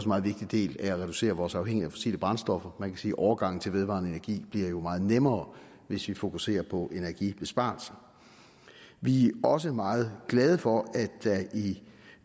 meget vigtig del af at reducere vores afhængighed af fossile brændstoffer man kan sige at overgangen til vedvarende energi jo bliver meget nemmere hvis vi fokuserer på energibesparelser vi er også meget glade for